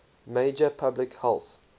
major public health